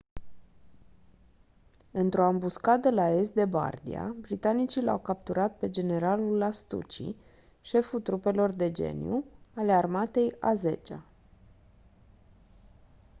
într-o ambuscadă la est de bardia britanicii l-au capturat pe generalul lastucci șeful trupelor de geniu ale armatei a zecea